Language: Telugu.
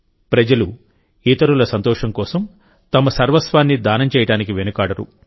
ప్రజలు ఇతరుల సంతోషం కోసం తమ సర్వస్వాన్ని దానం చేయడానికి వెనుకాడరు